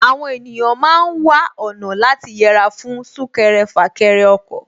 Àwọn ènìyàn ma ń wá ọ̀nà láti yẹra fún súnkẹrẹ fàkẹrẹ ọkọ̀